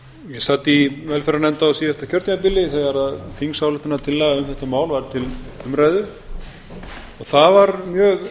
ég sat í velferðarnefnd á síðasta kjörtímabili þegar þingsályktunartillaga um þetta mál var til umræðu og það var mjög